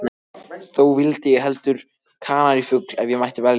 Þó vildi ég heldur kanarífugl, ef ég mætti velja.